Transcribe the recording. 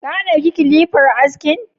Ka ɗauki kilifar askin?